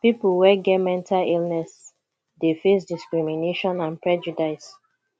people wey get mental illness dey face discrimination and prejudice